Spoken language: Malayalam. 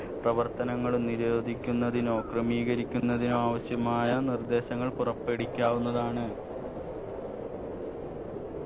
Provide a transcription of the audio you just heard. പ്രവർത്തനങ്ങളും നിരോധിക്കുന്നതിനോ ക്രമീകരിക്കുന്നതിനോ ആവശ്യമായ നിർദ്ദേശങ്ങൾ പുറപ്പെടീക്കാവുന്നതാണ്